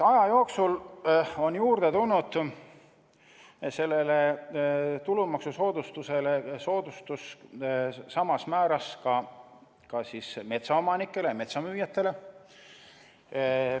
Aja jooksul on sellele tulumaksusoodustusele samas määras soodustus juurde tulnud ka metsaomanikele, metsamüüjatele.